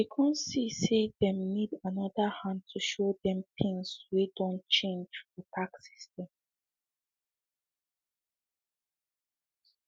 they come see say them need another hand to show them things way done change fr tax system